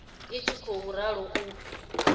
i tshi khou ralo u